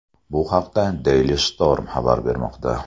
Bu haqda Daily Storm xabar bermoqda .